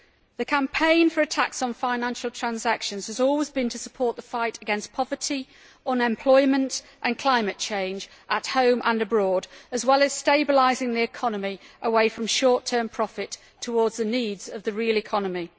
The campaign for a tax on financial transactions has always been about supporting the fight against poverty, unemployment and climate change at home and abroad, as well as stabilising the economy with a shift away from short term profit towards the needs of the real economy.